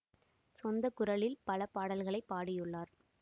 சொந்த குரலில் பல பாடல்களை பாடியுள்ளார்